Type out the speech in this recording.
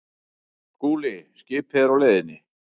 SKÚLI: Skipið er á leiðinni.